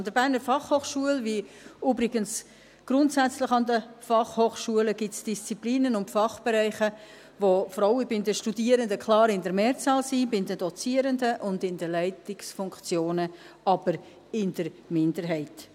An der BFH, wie übrigens grundsätzlich an den Fachhochschulen, gibt es Disziplinen und Fachbereiche, bei denen Frauen bei den Studierenden klar in der Mehrzahl sind, bei den Dozierenden und in den Leitungsfunktionen jedoch in der Minderheit.